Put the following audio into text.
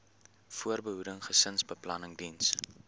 voorbehoeding gesinsbeplanning diens